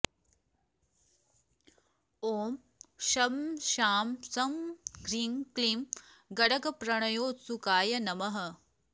ॐ शं शां षं ह्रीं क्लीं गणकप्रणयोत्सुकाय नमः